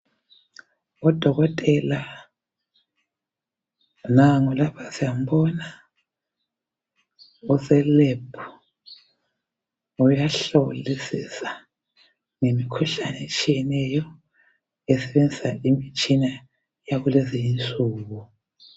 Udokotela nangu lapha siyambona uselebhu, uyahlolisisa ngemkhuhlane etshiyeneyo esebenzisa imitshina yalezinsuku.